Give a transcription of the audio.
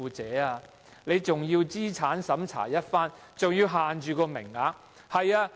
政府還要資產審查一番，更要限制名額。